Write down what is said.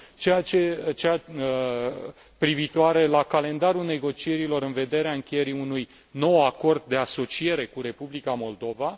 Cea privitoare la calendarul negocierilor în vederea încheierii unui nou acord de asociere cu Republica Moldova.